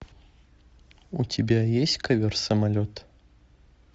у тебя есть ковер самолет